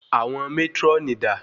Àwọn mátrónì dà?